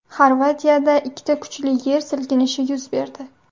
Xorvatiyada ikkita kuchli yer silkinishi yuz berdi .